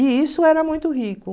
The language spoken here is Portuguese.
E isso era muito rico.